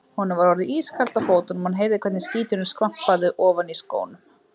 Honum var orðið ískalt á fótunum og hann heyrði hvernig skíturinn skvampaði ofan í skónum.